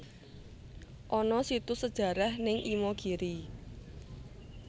Ana situs sejarah ning Imogiri